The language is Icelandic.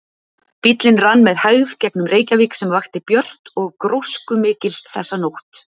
Bíllinn rann með hægð gegnum Reykjavík sem vakti björt og gróskumikil þessa nótt.